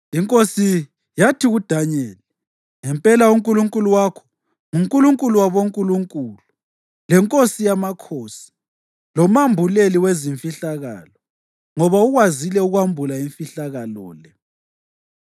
Inkosi yathi kuDanyeli, “Ngempela uNkulunkulu wakho nguNkulunkulu wabonkulunkulu leNkosi yamakhosi lomambuleli wezimfihlakalo, ngoba ukwazile ukwambula imfihlakalo le.”